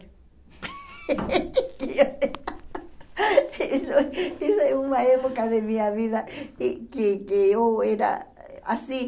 Isso isso é uma época da minha vida e que que eu era assim.